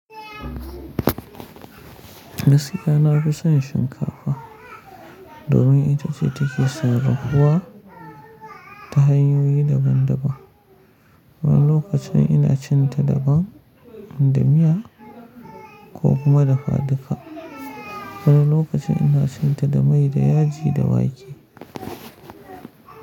Gaskiya na fi son shinkafa domin ita ce take sarrafuwa ta hanyoyi daban daban. Wani lokacin ina cin ta daban da miya ko kuma dafaduka, wani lokacin ina cin ta da mai da yaji da wake.